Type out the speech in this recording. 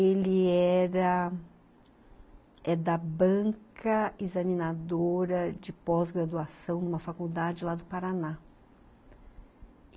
Ele era da banca examinadora de pós-graduação numa faculdade lá do Paraná.